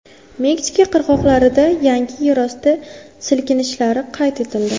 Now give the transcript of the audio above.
Meksika qirg‘oqlarida yangi yerosti silkinishlari qayd etildi.